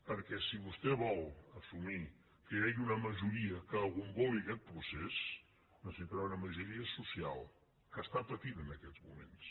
perquè si vostè vol assumir que hi hagi una majoria que agomboli aquest procés necessitarà una majoria social que està patint en aquests moments